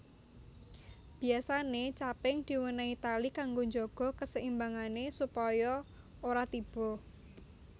Biyasane caping diwenehi tali kanggo njaga keseimbangane supaya ora tiba